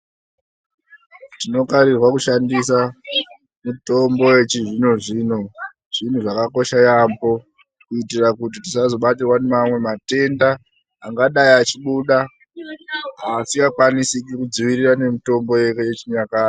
Tinokarirwa kushandisa mutombo yechizvinozvino zvinhu zvakakosha yamho kuitira kuti tisazobatirwa ngemamwe matenda angadai achibuda asingakwanisi kudzirirwa ngemitombo yechinyakare .